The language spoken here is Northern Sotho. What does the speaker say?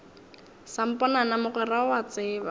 samponana mogwera o a tseba